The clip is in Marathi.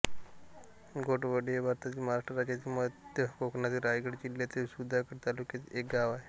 घोटवडे हे भारतातील महाराष्ट्र राज्यातील मध्य कोकणातील रायगड जिल्ह्यातील सुधागड तालुक्यातील एक गाव आहे